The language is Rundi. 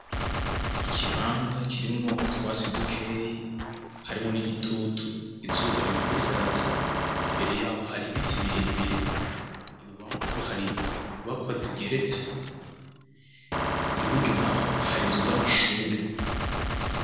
Ikibanza kirimwo utwatsi dukeyi, harimwo n'igitutu, izuba ririko riraka, imbere yaho hari ibiti birebire, ibubamfu hari inyubakwa zigeretse, iburyo naho hari inzu z'amashure.